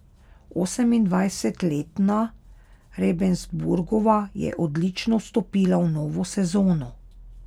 Osemindvajsetletna Rebensburgova je odlično vstopila v novo sezono.